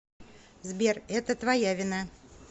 сбер это твоя вина